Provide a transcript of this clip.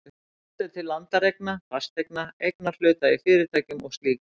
Horft er til landareigna, fasteigna, eignarhluta í fyrirtækjum og slíks.